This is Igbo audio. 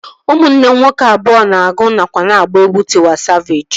Ụmụnne m nwoke abụọ nọ na-agụ nakwa na-agba egwu Tịwa Savejị